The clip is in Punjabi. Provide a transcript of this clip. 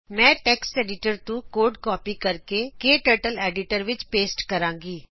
ਮੈਂ ਟੈਕਸਟ ਐਡੀਟਰ ਤੋਂ ਪ੍ਰੋਗਰਾਮ ਕਾਪੀ ਕਰਕੇ ਕਟਰਟਲੀਡੀਟਰ ਵਿੱਚ ਪੇਸਟ ਕਰਦੀ ਹਾਂ